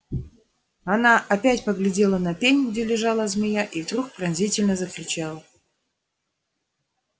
она опять поглядела на пень где лежала змея и вдруг пронзительно закричала